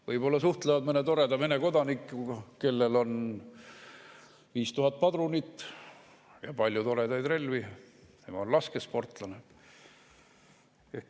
Võib-olla suhtlevad mõne toreda Vene kodanikuga, kellel on 5000 padrunit ja palju toredaid relvi, sest ta on laskesportlane.